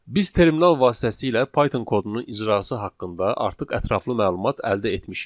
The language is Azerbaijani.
Biz terminal vasitəsilə Python kodunun icrası haqqında artıq ətraflı məlumat əldə etmişik.